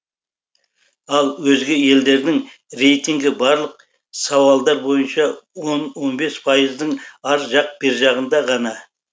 ал өзге елдердің рейтингі барлық сауалдар бойынша он он бес пайыздың ар жақ бер жағында ғана